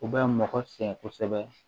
U bɛ mɔgɔ sɛgɛn kosɛbɛ